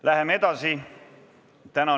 Läheme edasi!